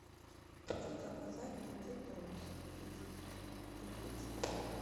хочу заказать букет роз из пяти цветов